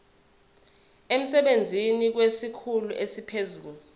emsebenzini kwesikhulu esiphezulu